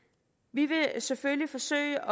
vi vil selvfølgelig forsøge